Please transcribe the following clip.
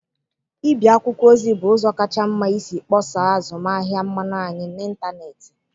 Ịbi akwụkwọ ozi bụ ụzọ kacha mma isi kpọsaa azụmahịa mmanụ anyị n'ịntanetị.